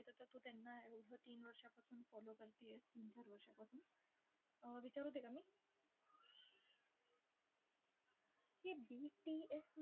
त्यांना तू एवढं तीन वर्षांपासून folow करतेयस, तीन चार वर्षांपासून. अं विचारू ते का मी? हे BTS